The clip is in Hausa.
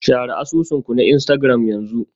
Share asusun ku na Instagram yanzu.